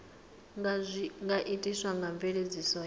nga itiswa nga mveledziso ya